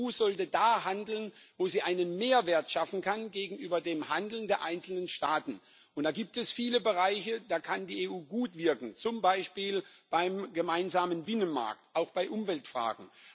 Die EU sollte da handeln, wo sie einen Mehrwert gegenüber dem Handeln der einzelnen Staaten schaffen kann. Da gibt es viele Bereiche, da kann die EU gut wirken, zum Beispiel beim gemeinsamen Binnenmarkt, auch bei Umweltfragen.